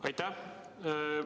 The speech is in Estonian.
Aitäh!